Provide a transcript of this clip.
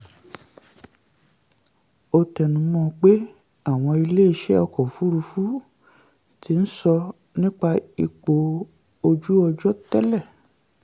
ó tẹnu um mọ́ pé àwọn ilé-iṣẹ̀ ọkọ òfurufú ti um sọ nípa ipò ojú ọjọ́ tẹ́lẹ̀.